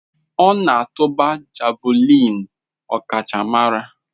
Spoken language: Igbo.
Ọ na-atụba Javulinị ọkachamara.